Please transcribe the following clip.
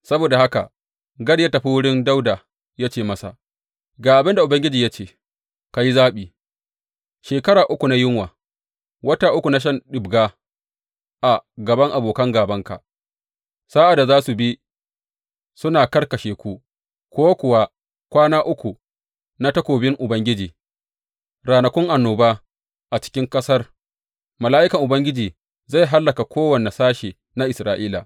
Saboda haka Gad ya tafi wurin Dawuda ya ce masa, Ga abin da Ubangiji ya ce, Ka yi zaɓi, shekara uku na yunwa, wata uku na shan ɗibga a gaban abokan gābanka, sa’ad da za su bi suna kakkashe ku, ko kuwa kwana uku na takobin Ubangiji, ranakun annoba a cikin ƙasar, mala’ikan Ubangiji zai hallaka kowane sashe na Isra’ila.’